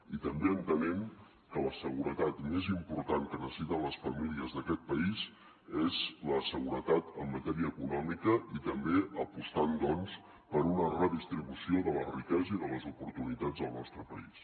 i també entenent que la seguretat més important que necessiten les famílies d’aquest país és la seguretat en matèria econòmica i també apostant doncs per una redistribució de la riquesa i de les oportunitats del nostre país